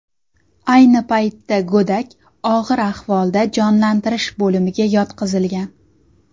Ayni paytda go‘dak og‘ir ahvolda jonlantirish bo‘limiga yotqizilgan.